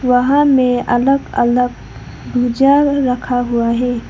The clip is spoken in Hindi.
वहां में अलग अलग भुजिया रखा हुआ है।